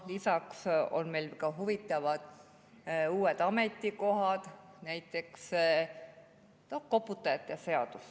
Lisaks on meil ka huvitavad uued ametikohad ja näiteks koputajate seadus.